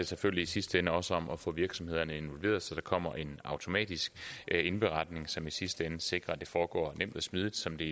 selvfølgelig i sidste ende også om at få virksomhederne involveret så der kommer en automatisk indberetning som i sidste ende sikrer at det foregår nemt og smidigt som det